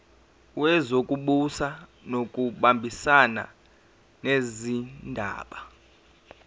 wezokubusa ngokubambisana nezindaba